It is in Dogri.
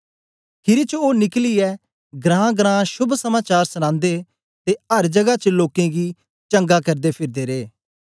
खीरी च ओ निकलियै घरांघरां शोभ समाचार सनांदे ते अर जगा च लोकें गी चंगा करदे फिरदे रहे